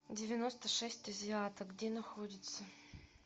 девяносто шесть азиаток где находится